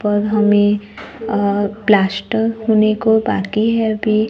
और हमे अ प्लास्टर होने को बाकी है अभी--